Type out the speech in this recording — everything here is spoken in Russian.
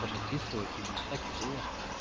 он описывает именно так и было